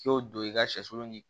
K'i y'o don i ka sɛsulu ni